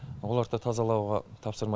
оларды тазалауға тапсырма